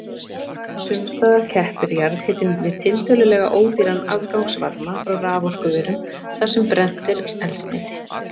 Sums staðar keppir jarðhitinn við tiltölulega ódýran afgangsvarma frá raforkuverum þar sem brennt er eldsneyti.